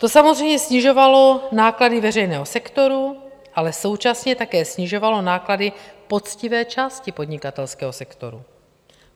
To samozřejmě snižovalo náklady veřejného sektoru, ale současně také snižovalo náklady poctivé části podnikatelského sektoru.